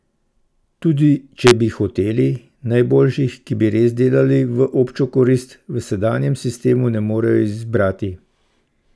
Tudi če bi hoteli, najboljših, ki bi res delali v občo korist, v sedanjem sistemu ne morejo izbrati.